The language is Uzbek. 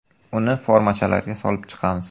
Uni formachalarga solib chiqamiz.